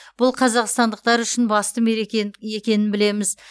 бұл қазақстандықтар үшін басты мереке екенін білеміз